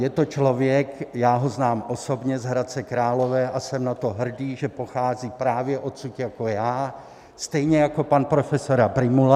Je to člověk, já ho znám osobně z Hradce Králové, a jsem na to hrdý, že pochází právě odsud jako já, stejně jako pan profesor Prymula.